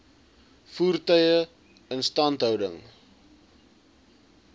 voertuie instandhouding